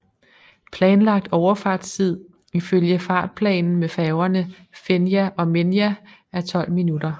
Planlagt overfartstid ifølge fartplanen med færgerne Fenja og Menja er 12 minutter